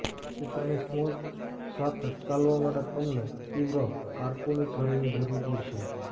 ચિત્રની સમોચ્ચ સાથે ચાલવા માટે તમને તીવ્ર કારકુની છરીની જરૂર પડશે